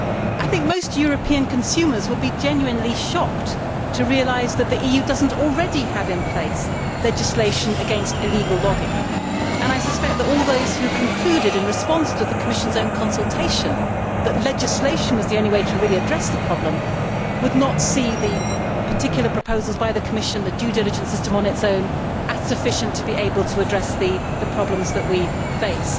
I think most European consumers would be genuinely shocked to realise that the EU does not already have in place legislation against illegal logging, and I suspect that all those who concluded, in response to the Commission's own consultation, that legislation was the only way to really address the problem would not see the particular proposals by the Commission, the due diligence system on its own, as sufficient to be able to address the problems that we face.